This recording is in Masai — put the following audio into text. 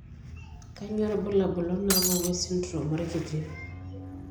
Kainyio irbulabul onaapuku esindirom orkiti.